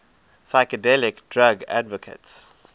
psychedelic drug advocates